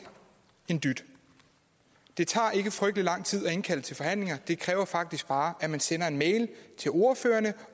en dyt det tager ikke frygtelig lang tid at indkalde til forhandlinger det kræver faktisk bare at man sender en mail til ordførerne